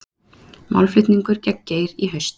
Málflutningur gegn Geir í haust